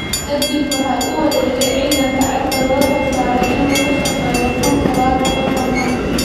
Ka dib waxa uu u wareegay ciidanka cirka oo loo xilsaaray in uu ka shaqeeyo kun sagaal boqol kontonkii.